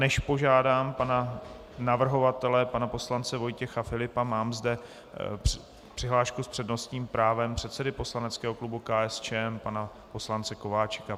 Než požádám pana navrhovatele pana poslance Vojtěcha Filipa, mám zde přihlášku s přednostním právem předsedy poslaneckého klubu KSČM pana poslance Kováčika.